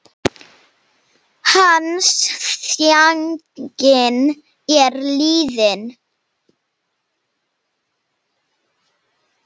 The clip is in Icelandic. Hans þjáning er liðin.